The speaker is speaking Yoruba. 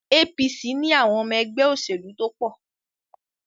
APC ni àwọn ọmọ ẹgbẹ́ òṣèlú tó pọ̀.